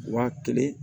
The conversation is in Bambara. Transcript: Wa kelen